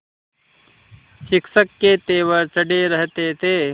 शिक्षक के तेवर चढ़े रहते थे